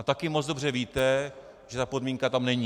A taky moc dobře víte, že ta podmínka tam není.